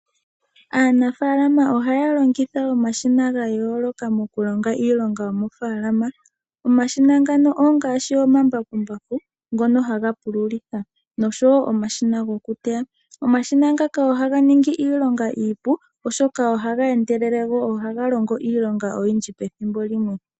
Aanafalama ohaya longitha omashina ga yoolokathana oku longa iiilonga yomofaalama. Omashina ngano ongashi omambakumbaku ngoka haga pululitha osho wo omashina goku teya. Omashina ngaka ohaga ningi iilonga iipu go ohaga endelele, go ohaga longo iilonga oyindji pethimbo limwe.